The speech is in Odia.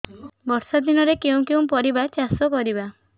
ବର୍ଷା ଦିନରେ କେଉଁ କେଉଁ ପରିବା ଚାଷ କରିବା